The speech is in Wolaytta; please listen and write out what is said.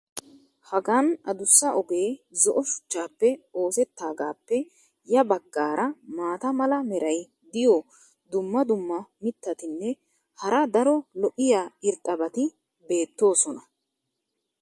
Hagan addussa ogee zo"o shuchchaappe oosetaagaappe ya bagaara maata mala meray diyo dumma dumma mitatinne hara daro lo'iya irxxabati beetoosona.